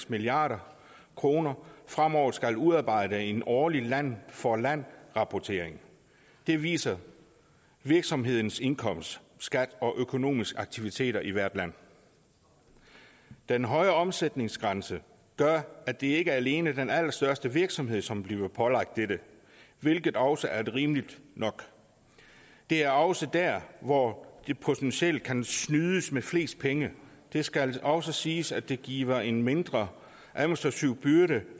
milliard kr fremover skal udarbejde en årlig land for land rapportering den viser virksomhedens indkomst skat og økonomiske aktiviteter i hvert land den høje omsætningsgrænse gør at det ikke alene er den allerstørste virksomhed som bliver pålagt dette hvilket også er rimeligt nok det er også der hvor der potentielt kan snydes med flest penge det skal også siges at det giver en mindre administrativ byrde